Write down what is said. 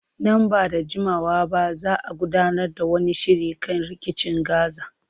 Nan ba da jimawa ba za a gudanar da wani shiri kan rikicin Gaza.